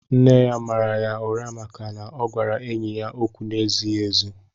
Nne ya màrà yá ụrá màkà na ọ gwara enyị ókwú n'ezighị ézi